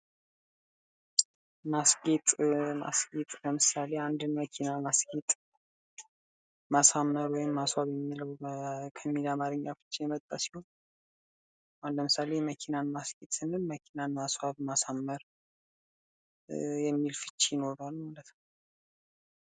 ማስጌጥ ማስጌጥ ለምሳሌ አንድ መኪና ማስጌጥ ማሳመር ወይም ማስዋብ ከሚል አማረኛ ፍቺ የመጣ ሲሆን አሁን ለምሳሌ መኪናን ማስጌጥ ስንል ማስዋብ ማሳመር የሚል ፍቺ ይኖረዋል ማለት ነው።